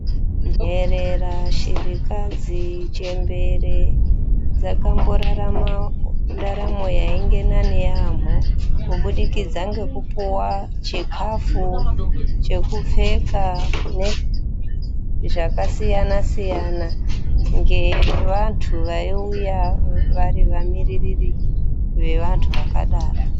Nherera ,shirikadzi, chembere dzakamborarama ndaramo yainge nani yaamho kubudikidza ngekupuwa chikafu chekupfeka nezvakasiyana siyana. ngevantu vaiuya vari vamiririri vevantu vakadaro.